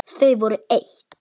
Þau voru eitt.